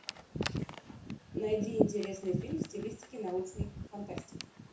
найди интересный фильм в стилистике научной фантастики